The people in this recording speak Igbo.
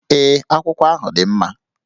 Ee, akwụkwọ ahụ dị mma